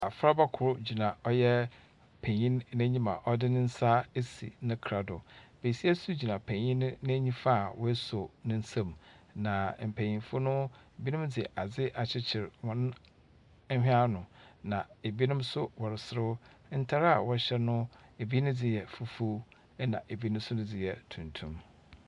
Afraba kor gyina ɔyɛ penyin n'enyim a ɔde ne nsa esi ne kra do. Besia nso gyina penyin no na nifa a wasɔw ne nsam, na mpenyimfo no, binom de adze akyekyer hɔn hwene ano, na ebinom nso wɔreserew. Ntar a wɔhyɛ no, ibi ne dze yɛ fufuw, ɛnna ibi ne dze no yɛ tuntum.